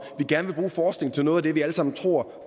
vi gerne forskning til noget af det vi alle sammen tror